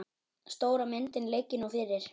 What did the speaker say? Stóra myndin liggi nú fyrir.